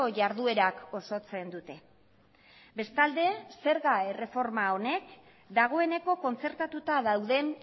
jarduerak osatzen dute bestalde zerga erreforma honek dagoeneko kontzertatuta dauden